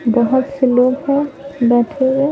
बहुत से लोग हैं बैठे --